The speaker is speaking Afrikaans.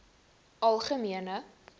algemene